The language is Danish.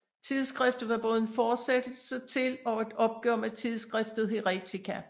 Tidsskriftet var både en fortsættelse til og et opgør med tidsskriftet Heretica